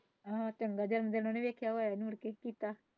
ਆਹ ਚੰਗਾ ਦਿਨ ਦੀ ।